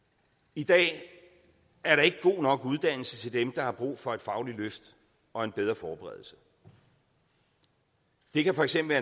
i dag er der ikke god nok uddannelse til dem der har brug for et fagligt løft og en bedre forberedelse det kan for eksempel